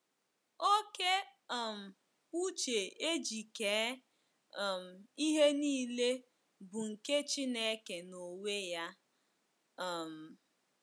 Oke um uche e ji kee um ihe nile bụ nke Chineke n’onwe ya. um